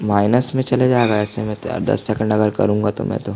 minus में चले जाएगा ऐसे में तो यार दस सेकंड अगर करूंगा मै तो--